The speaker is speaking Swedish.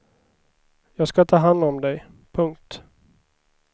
Jag ska ta hand om dig. punkt